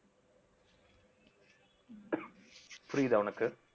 புரியுதா உனக்கு